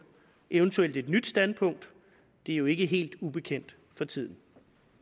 eventuelt et nyt standpunkt det er jo ikke helt ubekendt for tiden